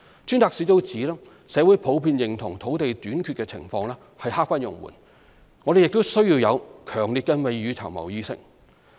專責小組指社會普遍認同土地短缺情況刻不容緩，我們亦需要有強烈的未雨綢繆意識。